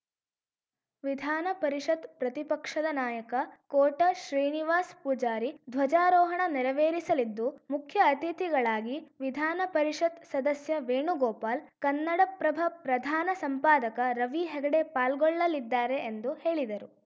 ವಿಧಾನ ಪರಿಷತ್‌ ಪ್ರತಿಪಕ್ಷದ ನಾಯಕ ಕೋಟ ಶ್ರೀನಿವಾಸ್ ಪೂಜಾರಿ ಧ್ವಜಾರೋಹಣ ನೆರವೇರಿಸಲಿದ್ದು ಮುಖ್ಯ ಅತಿಥಿಗಳಾಗಿ ವಿಧಾನ ಪರಿಷತ್‌ ಸದಸ್ಯ ವೇಣುಗೋಪಾಲ್‌ ಕನ್ನಡಪ್ರಭ ಪ್ರಧಾನ ಸಂಪಾದಕ ರವಿ ಹೆಗಡೆ ಪಾಲ್ಗೊಳ್ಳಲಿದ್ದಾರೆ ಎಂದು ಹೇಳಿದರು